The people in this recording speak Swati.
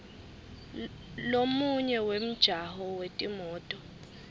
lomunye wemjaho wetimoto